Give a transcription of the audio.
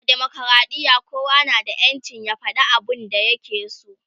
a demokradiya kowa na da ƴancin ya fada abun da ya ke so